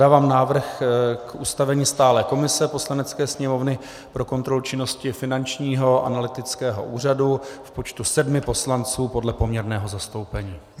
Dávám návrh k ustavení stálé komise Poslanecké sněmovny pro kontrolu činnosti Finančního analytického úřadu v počtu sedmi poslanců podle poměrného zastoupení.